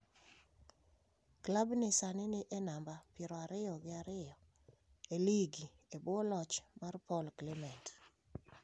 Klab ni sani ni e namba piero ariyo gi ariyo e lig e bwo loch mar Paul Clement.